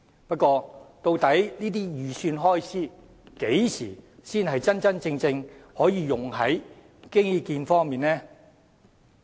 不過，究竟這些預算開支何時才能真真正正用在基建方面呢？